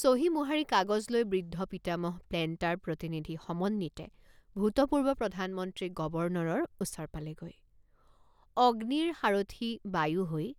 চহী মোহাৰি কাগজ লৈ বৃদ্ধ পিতামহ প্লেণ্টাৰ প্ৰতিনিধি সমন্বিতে ভূতপূৰ্ব প্ৰধানমন্ত্ৰী গৱৰ্ণৰৰ ওচৰ পালেগৈ অগ্নিৰ সাৰথি বায়ু হৈ